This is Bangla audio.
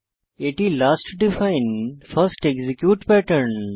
এটি last define first execute pattern